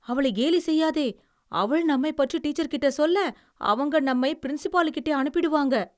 அவளைக் கேலி செய்யாதே. அவள் நம்மைப் பற்றி டீச்சர்க்கிட்ட சொல்ல, அவங்க நம்மை பிரின்சிபாலுக்கிட்டே அனுப்பிடுவாங்க.